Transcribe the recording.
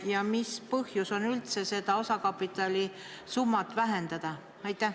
Ja mis põhjus on üldse seda osakapitali summat vähendada?